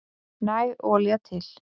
Næg olía til